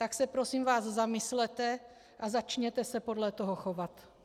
Tak se prosím vás zamyslete a začněte se podle toho chovat.